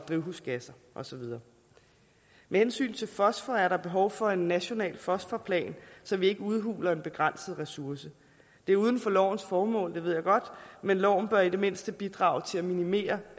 drivhusgasser og så videre med hensyn til fosfor er der behov for en national fosforplan så vi ikke udhuler en begrænset ressource det er uden for lovens formål det ved jeg godt men loven bør i det mindste bidrage til at minimere